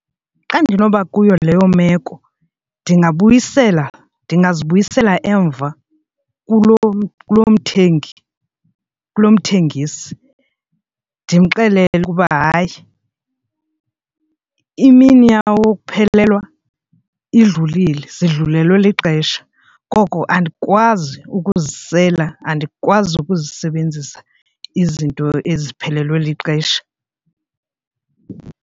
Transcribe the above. Xa ndinoba kuyo leyo meko ndingabuyisela ndingazibuyisela emva kulo kuloo mthengi kulo mthengisi ndimxelele ukuba hayi imini yawo wokuphelelwa idlulile zidlulelwe lixesha. Koko andikwazi ukuzisela andikwazi ukuzisebenzisa izinto eziphelelwe lixesha.